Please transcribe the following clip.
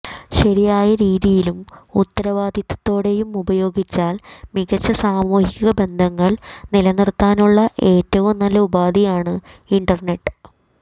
ശരിയായ രീതിയിലും ഉത്തരവാദിത്വത്തോടെയും ഉപയോഗിച്ചാൽ മികച്ച സാമൂഹിക ബന്ധങ്ങൾ നിലനിർത്താനുള്ള ഏറ്റവും നല്ല ഉപാധിയാണ് ഇന്റർനെറ്റ്